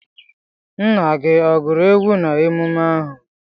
Nna gi oguru egwu na emume ahu?